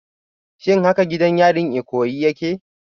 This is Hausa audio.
Shin haka gidan yarin Ikoyi yake?